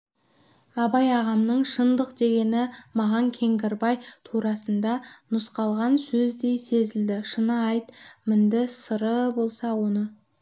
абай ағамның шындық дегені маған кеңгірбай турасында нұсқалған сөздей сезілді шынды айт мінді сыры болса оны